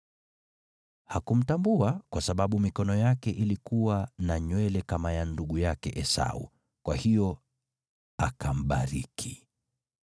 Hakumtambua, kwa sababu mikono yake ilikuwa na nywele kama ya ndugu yake Esau, kwa hiyo akambariki.